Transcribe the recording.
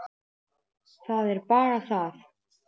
Það er bara það!